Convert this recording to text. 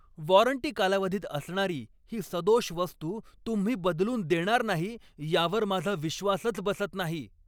Warranty कालावधीत असणारी ही सदोष वस्तू तुम्ही बदलून देणार नाही यावर माझा विश्वासच बसत नाही.